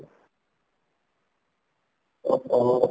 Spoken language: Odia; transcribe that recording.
ଓହୋ